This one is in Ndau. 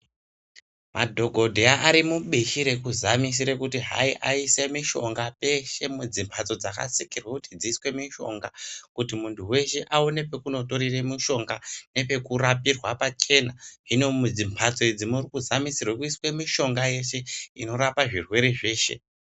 Madhokodheya ari mubishi rekuzamisire kuti hai, aise mishonga peshe mudzi mhatso dzakasikirwe kuti dziswe mishonga kuti munhu weshe aone pekunotorere mushonga nepekurapirwa pachena, hino mudzimhatso idzi muri kuzamisirwe kuiswe yeshe mishonga inorapa zvirwere zveshe.